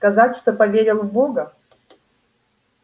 сказать что поверил в бога